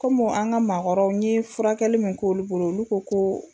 Kɔmi an ka maa kɔrɔw n ye furakɛli min k'olu bolo olu ko ko